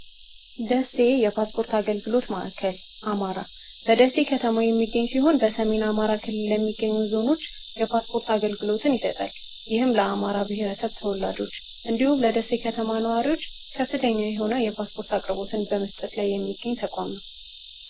ደሴ የፓስፖርት አገልግሎት ማዕከል አማራ በደሴ ከተማው የሚገኝ ሲሆን በሰሜን አማራ ክል የሚገኙ ዞኖች የፓስፖርት አገልግሎትን ይሰጠል ይህም ለአማራ ብሔረሰብ ተወላጆች እንዲሁም ለደሴ ከተማ ነዋሪዎች ከፍተኛ የሆነ የፓስፖርት አቅርቦትን በመስጠት ላይ የሚገኝ ተቋም ነው